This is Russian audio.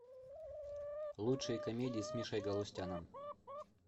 лучшие комедии с мишей галустяном